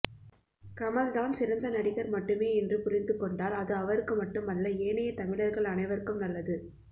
கமல் தான் சிறந்த நடிகர் மட்டுமே என்று புரிந்து கொண்டால் அது அவருக்கு மட்டுமல்ல ஏனைய தமிழர்கள் அனைவருக்கும் நல்லது